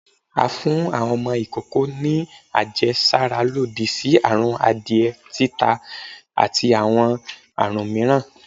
à fún awọn ọmọ ìkókó ni àjẹsára lòdì sí àrùn adiẹ, títà, ati awọn àrún mìíràn